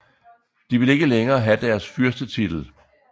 De vil ikke længere have deres fyrstetitel